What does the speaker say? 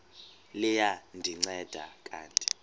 liya ndinceda kanti